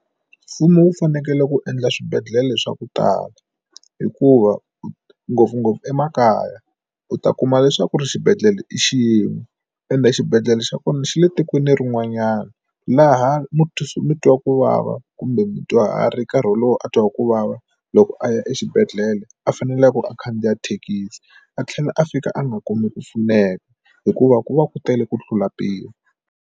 Mfumo wu fanekele ku endla swibedhlele swa ku tala hikuva ngopfungopfu emakaya u ta kuma leswaku ri xibedhlele i xin'we ende xibedhlele xa kona xi le tikweni rin'wanyana laha mutwa kuvava kumbe mudyuharhi nkarhi wolowo a twa ku vava loko a ya exibedhlele a faneleke a khandziya thekisi a tlhela a fika a nga kumi ku pfuneka hikuva ku va ku tele ku tlula mpimo.